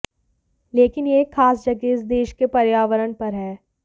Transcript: लेकिन यह एक खास जगह इस देश के पर्यावरण पर है